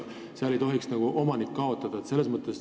Seal ei tohiks omanik kaotada.